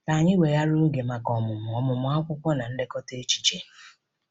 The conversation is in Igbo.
Ka anyị weghara oge maka ọmụmụ ọmụmụ akwụkwọ na nlekọta echiche.